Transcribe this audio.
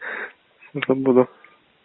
забуду